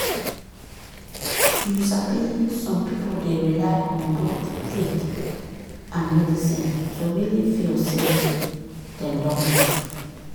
you sabi some people dey rely on both faith and medicine to really feel say dem don heal